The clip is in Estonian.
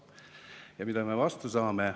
Ja mida me vastu saame?